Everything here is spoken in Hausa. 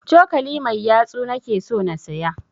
Cokali mai yatsu na ke so na siya